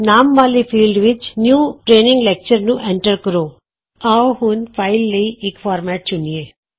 ਨਾਮ ਵਾਲੇ ਫੀਲ੍ਡ ਵਿਚ ਨਿਊ ਟਰੇਨਿੰਗ ਲੈਕਚਰ ਨੂੰ ਐਂਟਰ ਕਰੋ ਆਉ ਹੁਣ ਅਸੀਂ ਫਾਈਲ ਲਈ ਇਕ ਫਾਰਮੈਟ ਚੁਣੀਏ